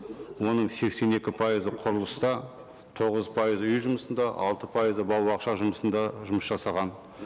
оның сексен екі пайызы құрылыста тоғыз пайызы үй жұмысында алты пайызы бала бақша жұмысында жұмыс жасаған